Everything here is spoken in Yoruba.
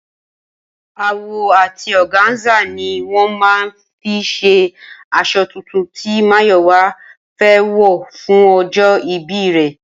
Awọ àti ọ̀gáńsà ni wọ́n máa fi ṣe aṣọ tuntun tí Máyọ̀wá fẹ́ wọ̀ fún ọjọ́ ìbí rẹ̀